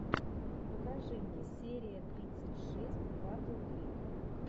покажи мне серия тридцать шесть батл крик